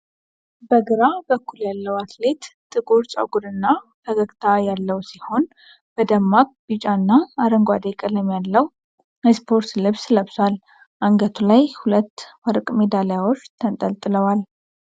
በግራ በኩል ያለው አትሌት ጥቁር ጸጉርና ፈገግታ ያለው ሲሆን፣ በደማቅ ቢጫና አረንጓዴ ቀለም ያለው የስፖርት ልብስ ለብሷል። አንገቱ ላይ ሁለት ወርቅ ሜዳሊያዎች ተንጠልጥለዋል።